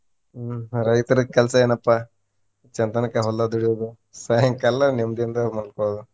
ಹ್ಮ್ ರೈತ್ರಿಗ್ ಕೆಲ್ಸಾ ಏನಪ್ಪಾ, ಚಂತನಕಾ ಹೊಲ್ದಾಗ ದುಡಿಯೋದು ಸಾಯಂಕಾಲ ನೆಮ್ಮದಿಯಿಂದ ಮಲ್ಕೊಳೋದು.